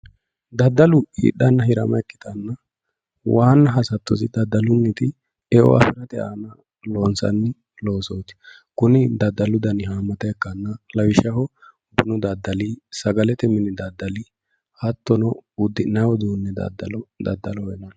daddalu hidhanna hirama ikkitanna waanna hasattosi daddalunniti eonna afirate aana loonsanni loosooti kuni daddalu dani haammata ikkanna lawishshaho bunu daddali sagalete mini daddali hattono uddi'nanni uduunni daddaloho yinanni.